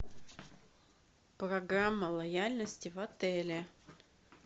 программа лояльности в отеле